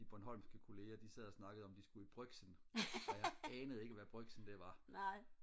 de bornholmske kollegaer de sad og snakkede om at de skulle i brygsen og jeg anede ikke hvad brygsen det var